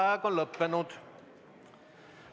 Vaheaeg on lõppenud.